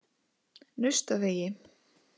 Naustavegi